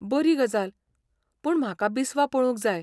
बरी गजाल, पूण म्हाका बिस्वा पळोवंक जाय.